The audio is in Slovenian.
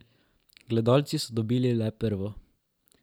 Gledalci so dobili le prvo.